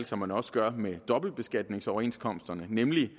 som man også gør med dobbeltbeskatningsoverenskomsterne nemlig